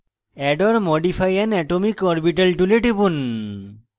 add or modify an atomic orbital tool টিপুন